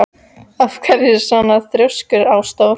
Af hverju ertu svona þrjóskur, Ásdór?